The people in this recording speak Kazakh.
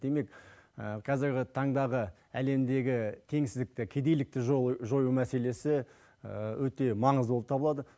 демек қазіргі таңдағы әлемдегі теңсіздікті кедейлікті жою мәселесі өте маңызды болып табылады